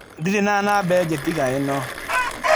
Ndirĩ na namba ĩngĩ tiga ĩno.